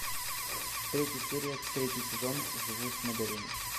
третья серия третий сезон живу с моделями